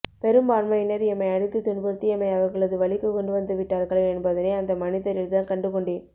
பெரும் பான்மையினர் எம்மை அடித்து துன்புறுத்தி எம்மை அவர்களது வளிக்கு கொண்டுவந்த விட்டார்கள் என்பதனை அந்த மனிதரில்தான் கண்டுகொண்டேன்